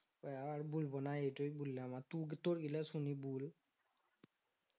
ওইয়া আর বলবো না এইটুই বললাম আর টু তোরগুলা শুনি বুল